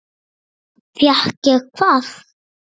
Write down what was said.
Fékk ég hvað?